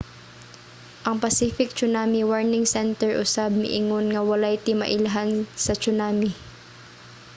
ang pacific tsunami warning center usab miingon nga walay timailhan sa tsunami